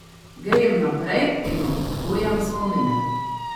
Grem naprej in obujam spomine.